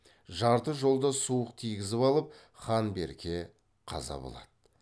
жарты жолда суық тигізіп алып хан берке қаза болады